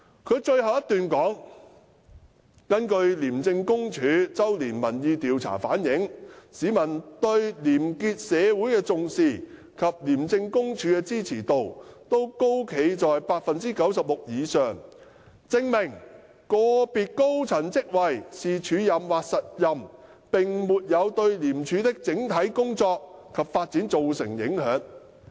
他在覆函的末段指出，根據廉署周年民意調查顯示，市民對廉潔社會的重視及對廉署的支持度均高企在 96% 以上，證明不論個別高層職位是署任或實任，並沒有對廉署的整體工作及發展造成影響。